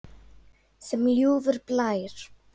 Sem ljúfur blær.